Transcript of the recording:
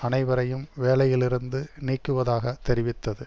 அனைவரையும் வேலையிலிருந்து நீக்குவதாக தெரிவித்தது